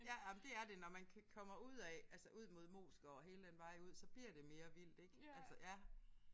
Ja jamen det er det når man kommer ud af altså ud mod Moesgaard og hele den vej ud så bliver det mere vildt ik altså ja